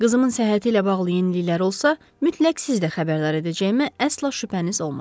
Qızımın səhhəti ilə bağlı yeniliklər olsa, mütləq sizə xəbərdar edəcəyimə əsla şübhəniz olmasın.